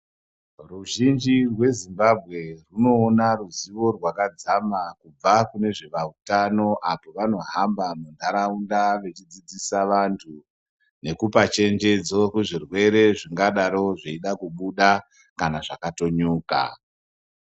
Ruzhinji rwezimbambwe hunoona ruzivo rwakadzama kubva kune zveutano apo pavanohamba muntaraunda vechidzidzisa vantu. Nekupachenjedzo kuzvirwere zvingadaro zveida kubuda kana zvakatonyuka.